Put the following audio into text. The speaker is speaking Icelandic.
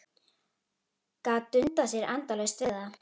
Gat dundað sér endalaust við það.